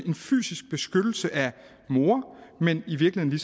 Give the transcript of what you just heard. en fysisk beskyttelse af mor men i virkeligheden